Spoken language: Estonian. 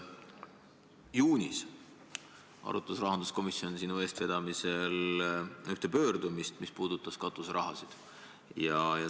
Juunis arutas rahanduskomisjon sinu eestvedamisel ühte pöördumist, mis puudutas katuseraha.